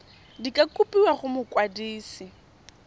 di ka kopiwa go mokwadise